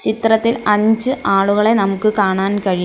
ചിത്രത്തിൽ അഞ്ച് ആളുകളെ നമുക്ക് കാണാൻ കഴിയും.